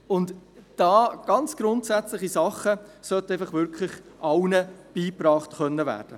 Und daher: Ganz grundsätzliche Dinge sollten einfach allen beigebracht werden können.